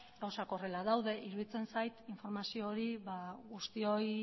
gauzak horrela daude iruditzen zait informazio hori guztioi